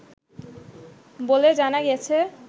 বলে জানা গেছে